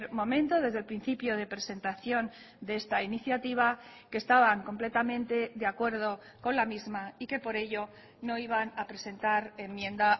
momento desde el principio de presentación de esta iniciativa que estaban completamente de acuerdo con la misma y que por ello no iban a presentar enmienda